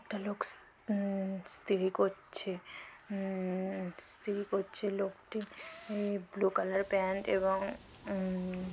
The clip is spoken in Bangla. একটা লোক উম ইস্তিরি করছে উম ইস্তিরি করছে লোকটি ব্লু কালার প্যান্ট এবং উম--